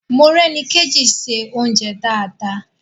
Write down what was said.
Morẹ́nikéjì ń se oúnjẹ dáadáa